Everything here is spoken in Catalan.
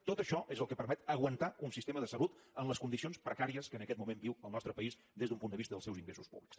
tot això és el que permet aguantar un sistema de salut en les condicions precàries que en aquest moment viu el nostre país des d’un punt de vista dels seus ingressos públics